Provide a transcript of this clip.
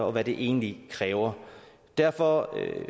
og hvad det egentlig kræver derfor